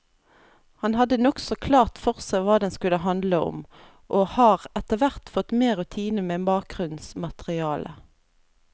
Han hadde nokså klart for seg hva den skulle handle om, og har etterhvert fått mer rutine med bakgrunnsmaterialet.